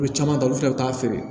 Olu caman ta olu fɛnɛ bɛ taa feere